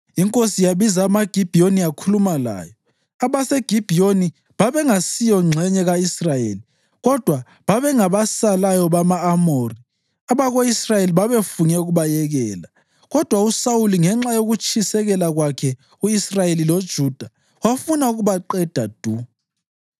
Inkosi yabiza amaGibhiyoni yakhuluma lawo. (AbaseGibhiyoni babengasiyo ngxenye ka-Israyeli kodwa babengabasalayo bama-Amori, abako-Israyeli babefunge ukubayekela, kodwa uSawuli ngenxa yokutshisekela kwakhe u-Israyeli loJuda wafuna ukubaqeda du.)